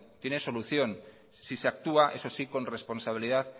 tiene solución si se actúa eso sí con responsabilidad